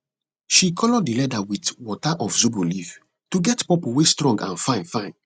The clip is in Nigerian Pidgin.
she color di leather wit di water of zobo leaf to get purple wey strong and fine fine